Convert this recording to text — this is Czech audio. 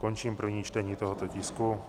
Končím první čtení tohoto tisku.